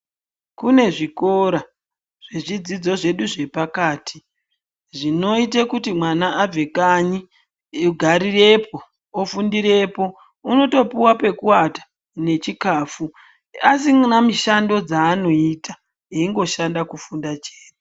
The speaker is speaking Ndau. Kune zvikora zvezvidzidzo zvedu zvepakati zvinoita kuti mwana abve kanyi agarirepo ofundirapo. Unotopiwa pekuwata nechikafu asina mushando dzaanoita achingoshanda funda chete.